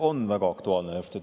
On väga aktuaalne.